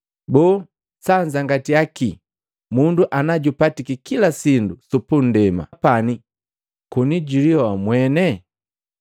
Boo sanzangatiya kii mundu ana jupatiki kila sindu su punndema pane koni na julihoa mweni?